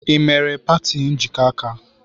Ị mere party njikọ aka?